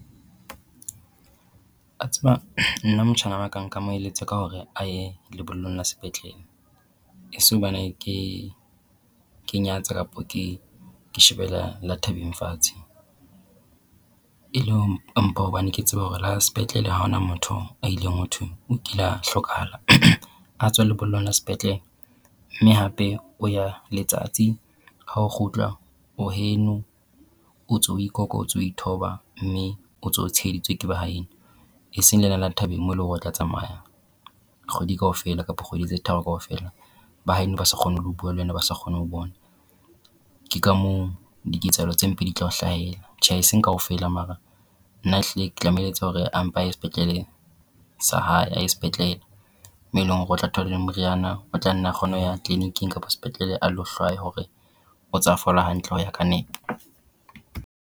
Wa tseba nna motjhana waka nka mo eletsa ka hore a ye lebollong la sepetlele, e se hobane ke ke nyatsa kapa ke shebela le thabeng fatshe. E le mpa hobane ke tseba hore la sepetlele ha hona motho a ileng ho thwe o kile a hlokahala a tswa lebollong la sepetlele. Mme hape o ya letsatsi ha o kgutla o heno o ntse o ikoka o ntso ithoba mme o ntse o tshiheditswe ke ba ha eno. E seng lena la thabeng mo eleng hore o tla tsamaya kgwedi kaofela kapa kgwedi tse tharo kaofela ba haeno ba sa kgone ho bua le wena ba sa kgone ho o bona. Ke ka mo diketsahalo tse mpe di tla o hlahela. Tjhe e seng kaofela mara nna e hlile ke tla moeletsa hore ampa ye sepetlele sa hae a ye sepetlele. Mo eleng hore o tla thola le moriana o tla nna kgone ho ya tleliniking kapa sepetlele a lo hlwaya hore o ntsa fola hantle ho ya ka nepo.